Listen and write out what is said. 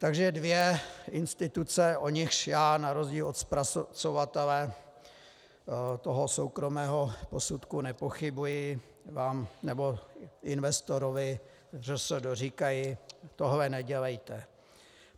Takže dvě instituce, o nichž já na rozdíl od zpracovatele toho soukromého posudku nepochybuji, vám nebo investorovi ŘSD říkají: tohle nedělejte.